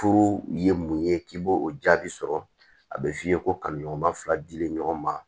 Furu ye mun ye k'i b'o o jaabi sɔrɔ a bɛ f'i ye ko ka ɲɔgɔn ma fila dilen ɲɔgɔn ma